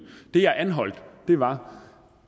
det jeg anholdt var